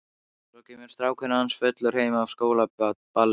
Svo kemur strákurinn hans fullur heim af skólaballi.